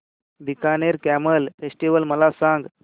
Bikaner camel festival मला सांग